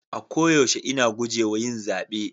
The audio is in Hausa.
A koyaushe ina guje wa yin zabe.